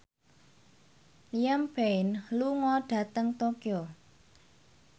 Liam Payne lunga dhateng Tokyo